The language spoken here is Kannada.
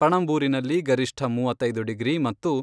ಪಣಂಬೂರಿನಲ್ಲಿ ಗರಿಷ್ಠ ಮೂವತ್ತೈದು ಡಿಗ್ರಿ ಮತ್ತು